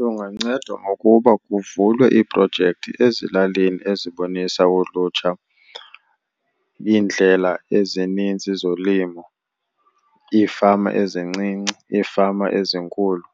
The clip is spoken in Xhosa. Lungancedwa ngokuba kuvulwe iiprojekthi ezilalini ezibonisa ulutsha iindlela ezininzi zolimo, iifama ezincinci, iifama ezinkulu,